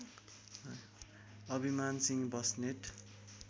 अभिमान सिंह बस्नेत